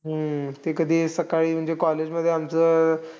हम्म ते कधी सकाळी म्हणजे college मध्ये आमचं